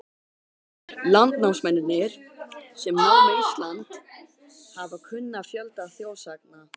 Landnámsmennirnir, sem námu Ísland, hafa kunnað fjölda þjóðsagna.